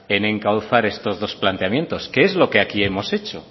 en encauzar estos dos planteamientos que es lo que aquí hemos hecho